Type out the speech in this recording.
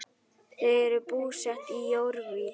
Þau eru búsett í Jórvík.